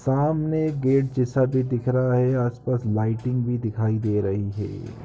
सामने एक गेट जैसा भी दिख रहा है आस-पास लाइटिंग भी दिखाई दे रही है।